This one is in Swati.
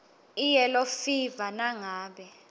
iyellow fever nangabe